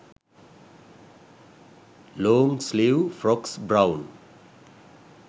long sleeve frocks brown